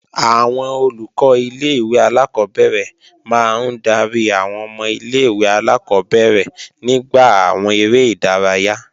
Àwọn Olùkọ́ ilé-ìwé alákọ́bẹ̀rẹ̀ máa ń darí àwọn ọmọ ilé-ìwé alákọ́bẹ̀rẹ̀ nígbà àwọn eré ìdárayá